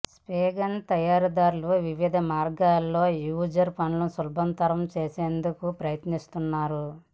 spray gun తయారీదారులు వివిధ మార్గాల్లో యూజర్ పనులు సులభతరం చేసేందుకు ప్రయత్నిస్తున్నారు